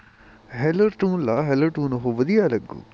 hello tune ਲਾ hello tune ਉਹ ਵਧੀਆ ਲੱਗੂ